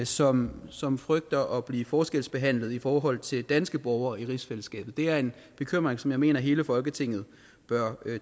som som frygter at blive forskelsbehandlet i forhold til danske borgere i rigsfællesskabet det er en bekymring som jeg mener at hele folketinget bør